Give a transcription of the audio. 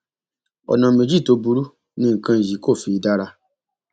ọnà méjì tó burú ni nǹkan yìí kò fi dára